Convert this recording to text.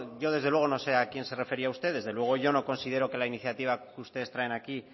yo desde luego no sé a quién se refería usted desde luego yo no considero que la iniciativa que ustedes traen aquí